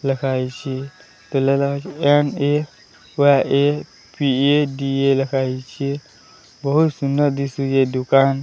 ଲେଖାହେଇଚି ଲେଖାହେଇଛି ବହୁତ ସୁନ୍ଦର ଦିଶୁଛି ଏ ଦୋକାନ।